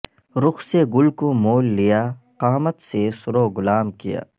رخ سے گل کو مول لیا قامت سے سرو غلام کیا